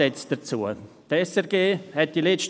Es gibt dazu drei Ideen oder Ansätze: